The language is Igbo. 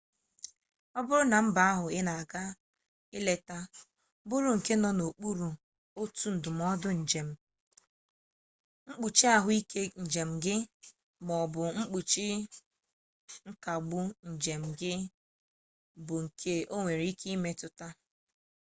ọ bụrụ na mba ahụ ị ga-aga ileta bụrụ nke nọ n'okpuru otu ndụmọdụ njem mkpuchi ahụike njem gị ma ọ bụ mkpuchi nkagbu njem gị bụ nke o nwere ike imetụta